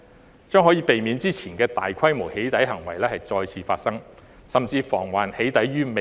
此舉將可以避免之前的大規模"起底"行為再次發生，甚至防"起底"於未然。